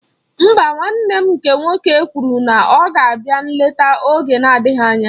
Mba, nwanne nne m nke nwoke kwụrụ na ọ ga-abịa nlete oge na-adịghị anya